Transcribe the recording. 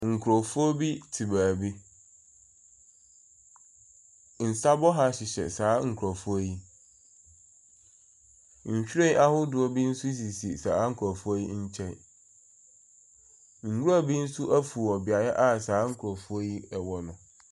Nkurɔfoɔ bi te baabi. Nsa bɔha hyehyɛ saa nkurɔfoɔ yi. Nhwiren ahodoɔ bi nso sisi saa nkurɔfoɔ yi nkyɛn. Nwura bi nso afi wɔ beaeɛ a saa nkurɔfoɔ yi wɔ no.